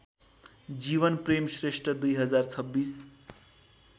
Jeevanprem Shrestha २०२६